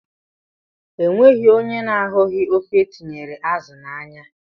Enweghị ónyé na-ahughi ofe etinyere azụ na ányá.